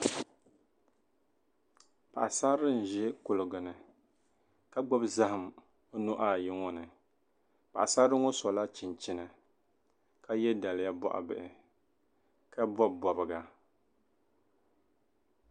paɣisarili n-ʒi kuliga ni ka gbubi zahim o nuhi ayi ŋɔ ni paɣisarili ŋɔ sɔla chinchini ka ye daliya bɔɣibihi ka bɔbi bɔbiga